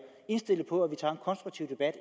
indstillet på at vi tager en konstruktiv debat